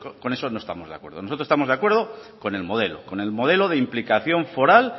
con eso no estamos de acuerdo nosotros estamos de acuerdo con el modelo con el modelo de implicación foral